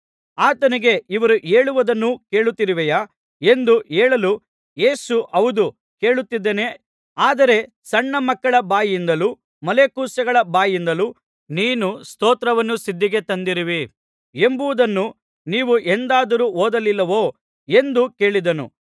ಆತನಿಗೆ ಇವರು ಹೇಳುವುದನ್ನು ಕೇಳುತ್ತಿರುವೆಯಾ ಎಂದು ಹೇಳಲು ಯೇಸು ಹೌದು ಕೇಳುತ್ತಿದ್ದೇನೆ ಆದರೆ ಸಣ್ಣ ಮಕ್ಕಳ ಬಾಯಿಂದಲೂ ಮೊಲೆಕೂಸುಗಳ ಬಾಯಿಂದಲೂ ನೀನು ಸ್ತೋತ್ರವನ್ನು ಸಿದ್ಧಿಗೆ ತಂದಿರುವಿ ಎಂಬುದನ್ನು ನೀವು ಎಂದಾದರೂ ಓದಲಿಲ್ಲವೋ ಎಂದು ಕೇಳಿದನು